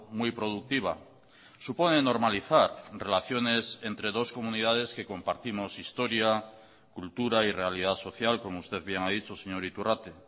muy productiva supone normalizar relaciones entre dos comunidades que compartimos historia cultura y realidad social como usted bien ha dicho señor iturrate